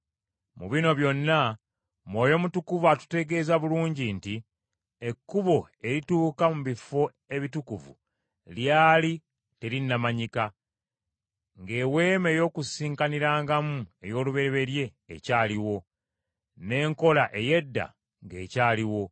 Mu bino byonna, Mwoyo Mutukuvu atutegeeza bulungi nti, Ekkubo erituuka mu bifo ebitukuvu lyali terinnamanyika, ng’eweema ey’Okukuŋŋaanirangamu ey’olubereberye ekyaliwo, n’enkola ey’edda ng’ekyaliwo.